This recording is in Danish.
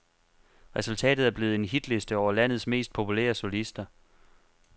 Resultatet er blevet en hitliste over landets mest populære solister.